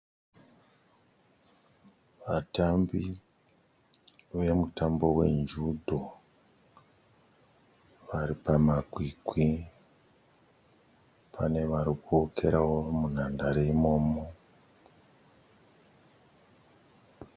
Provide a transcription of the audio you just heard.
Vatambi vemutambo wenjudho vari pamakwikwi. Pane vari kuwokerawo munhandare imomo